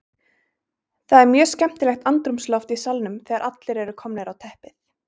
Það er mjög skemmtilegt andrúmsloft í salnum þegar allir eru komnir á teppið.